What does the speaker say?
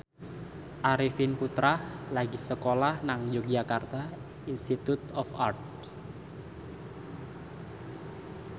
Arifin Putra lagi sekolah nang Yogyakarta Institute of Art